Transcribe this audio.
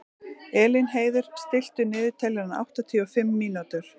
Elínheiður, stilltu niðurteljara á áttatíu og fimm mínútur.